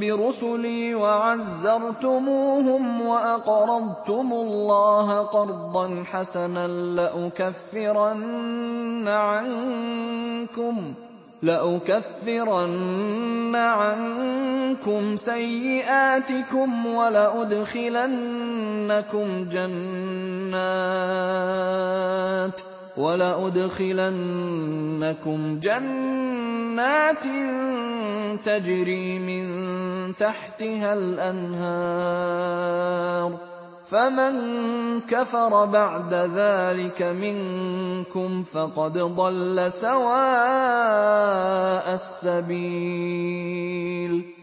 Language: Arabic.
بِرُسُلِي وَعَزَّرْتُمُوهُمْ وَأَقْرَضْتُمُ اللَّهَ قَرْضًا حَسَنًا لَّأُكَفِّرَنَّ عَنكُمْ سَيِّئَاتِكُمْ وَلَأُدْخِلَنَّكُمْ جَنَّاتٍ تَجْرِي مِن تَحْتِهَا الْأَنْهَارُ ۚ فَمَن كَفَرَ بَعْدَ ذَٰلِكَ مِنكُمْ فَقَدْ ضَلَّ سَوَاءَ السَّبِيلِ